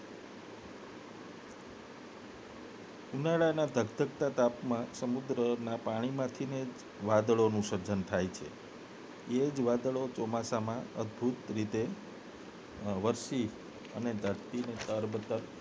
ઉનાળાના ધગધગતા તાપમાં સમુદ્રના પાણીમાંથી ને જ વાદળો સર્જન થાય છે એ જ વાદળો ચોમાસામાં અદભુત રીતે વરસી ધરતીના તલબધલ